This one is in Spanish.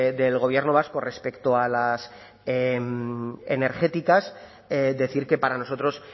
del gobierno vasco respecto a las energéticas decir que para nosotros